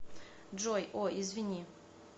джой о извини